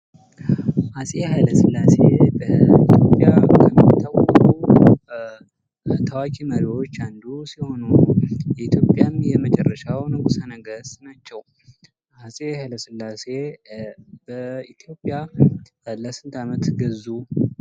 አጼ ኃይለ ሥላሴ በ ኢትዮጵያ ከሚታወቁ ታዋቂ መሪዎች አንዱ ሲሆኑ፤ ኢትዮጵያም የመጨረሻው ንጉሠ ነገሥት ናቸው። አፄ ኃይለስላሴ በኢትዮጵያ ለስንት ዓመታት ገዙ?